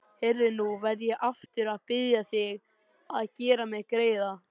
Heyrðu. nú verð ég aftur að biðja þig að gera mér greiða!